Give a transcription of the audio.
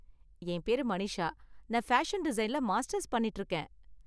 என் பேரு மனிஷா, நான் பேஷன் டிசைன்ல மாஸ்டர்ஸ் பண்ணிட்டு இருக்கேன்